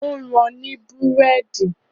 Ó rán an ní Búrẹ́dì